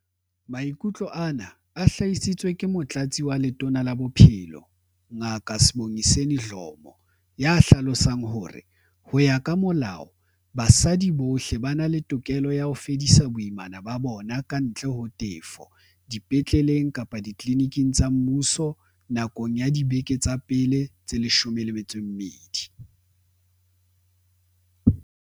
Maikutlo ana a hlahisitswe ke Motlatsi wa Letona la Bophelo, Ngaka Sibongiseni Dhlomo, ya hlalosang hore, ho ya ka molao, basadi bohle ba na le tokelo ya ho fedisa boimana ba bona, kantle ho tefo, dipetleleng kapa ditliliniking tsa mmuso nakong ya dibeke tsa pele tse 12.